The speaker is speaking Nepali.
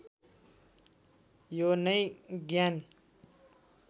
यो नै ज्ञान